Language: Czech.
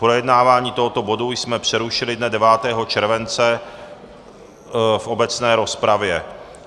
Projednávání tohoto bodu jsme přerušili dne 9. července v obecné rozpravě.